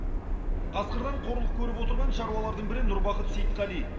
қасқырдан қорлық көріп отырған шаруалардың бірі нұрбақыт сейтқали